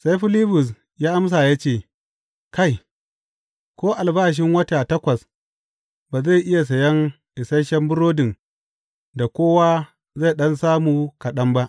Sai Filibus ya amsa ya ce, Kai, ko albashin wata takwas ba zai iya sayan isashen burodin da kowa zai ɗan samu kaɗan ba!